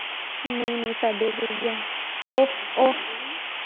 ਨਹੀਂ ਨਹੀਂ ਸਾਢੇ ਕ ਗਿਆਰਾਂ ਓਹ ਓਹ।